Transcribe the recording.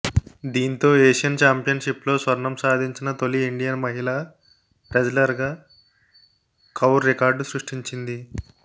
దీంతో ఏషియన్ ఛాంపియన్షిప్లో స్వర్ణం సాధించిన తొలి ఇండియన్ మహిళా రెజ్లర్గా కౌర్ రికార్డు సృష్టించింది